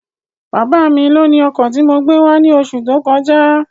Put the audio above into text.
Bábá mi lóni ọkọ̀ tí mo gbé wá ní oṣù tó kọjá